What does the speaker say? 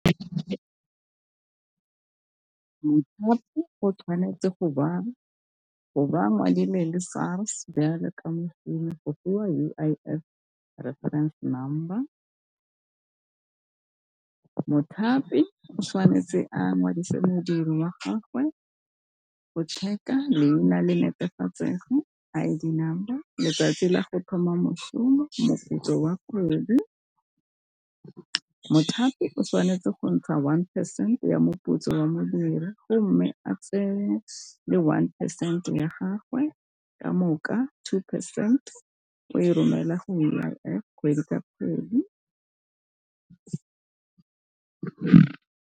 Mothapi o tshwanetse go baa, go baa Madi le SARS byale yaka mošomi go fiwa U_I_F referense number. Mothapi o tshwanetse a ngwadise modiri wa gagwe go check-a leina le netefatsego, I_D number, letsatsi la go thoma mošomo, moputso o a kgwedi. Mothapi o tshwanetse go ntsha one percent ya moputso wa modiri go mme a tse le one percent ya gagwe ka moka two percent o e romela go U_I_F kgwedi ka kgwedi.